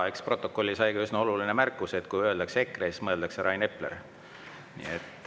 Eks protokolli sai ka üsna oluline märkus, et kui öeldakse EKRE, siis mõeldakse Rain Epler.